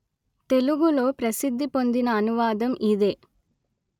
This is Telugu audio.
తెలుగులో ప్రసిద్ధి పొందిన అనువాదం ఇదే